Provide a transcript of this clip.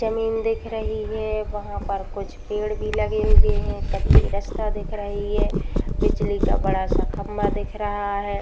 जमीन दिख रही है। वहां पर कुछ पेड़ भी लगे हुए हैं। कच्ची रस्ता दिख रही है। बिजली का बड़ा सा खम्बा दिख रहा है।